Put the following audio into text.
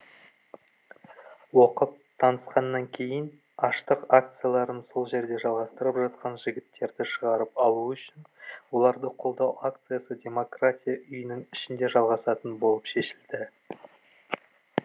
оқып танысқаннан кейін аштық акцияларын сол жерде жалғастырып жатқан жігіттерді шығарып алу үшін оларды қолдау акциясы демократия үйінің ішінде жалғасатын болып шешілді